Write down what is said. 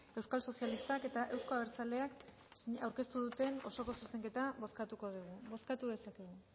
euskal sozialistak eta euzko abertzaleak aurkeztu duten osoko zuzenketa bozkatuko dugu bozkatu dezakegu